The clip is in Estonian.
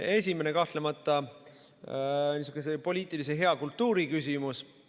Esimene on kahtlemata niisuguse hea poliitilise kultuuri küsimus.